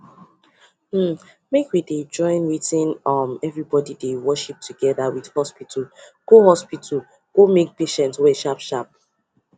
hmmmmake we dey join wetin um everybody dey worship together with hospital go hospital go make patient well sharp sharp